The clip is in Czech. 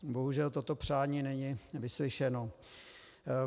Bohužel toto přání není vyslyšeno.